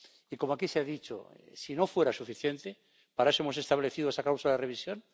Y, como aquí se ha dicho, si no fuera suficiente, para eso hemos establecido esa cláusula de revisión